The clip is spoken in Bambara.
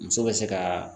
Muso bɛ se ka